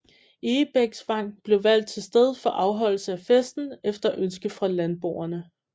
Egebæksvang blev valgt til sted for afholdelse af festen efter ønske fra landboerne